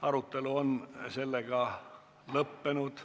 Arutelu on lõppenud.